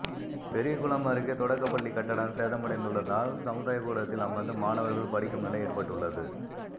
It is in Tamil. பெரியகுளம் அருகே தொடக்கப்பள்ளிக் கட்டடம் சேதமடைந்துள்ளதால் சமுதாயக்கூடத்தில் அமா்ந்து மாணவா்கள் படிக்கும் நிலை ஏற்பட்டுள்ளது